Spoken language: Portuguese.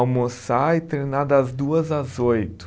almoçar e treinar das duas às oito.